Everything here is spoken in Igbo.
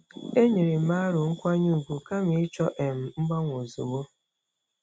E nyerem aro nkwanye ùgwù kama ịchọ um mgbanwe ozugbo.